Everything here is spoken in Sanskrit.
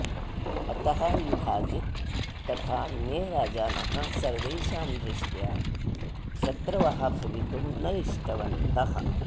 अतः युधाजित् तथा अन्ये राजानः सर्वेषां दृष्ट्या शत्रवः भवितुं न इष्टवन्तः